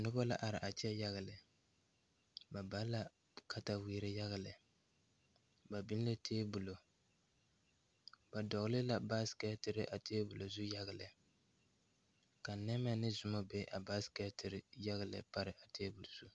Noba la are a kyɛ yaga lɛ ba ba la katawiire yaga lɛ ba biŋ la tabolɔ ba dogle la baasiketire a tabolɔ zu yaga lɛ ka nemɛ ne zɔmo be baasiketire yaga lɛ pare a tabol zu.